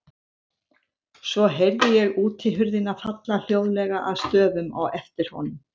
Svo heyrði ég útihurðina falla hljóðlega að stöfum á eftir honum.